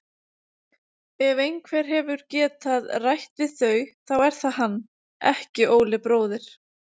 Ef einhver hefur getað rætt við þau þá er það hann, ekki Óli bróðir.